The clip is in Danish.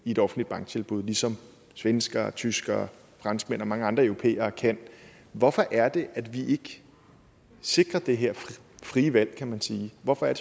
et offentligt banktilbud ligesom svenskere tyskere franskmænd og mange andre europæere kan hvorfor er det at vi ikke sikrer det her frie valg kan man sige hvorfor